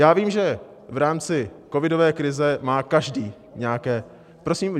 Já vím, že v rámci covidové krize má každý nějaké - Prosím?